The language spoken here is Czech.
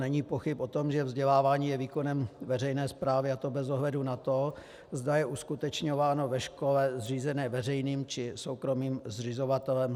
Není pochyb o tom, že vzdělávání je výkonem veřejné správy, a to bez ohledu na to, zda je uskutečňováno ve škole zřízené veřejným, či soukromým zřizovatelem.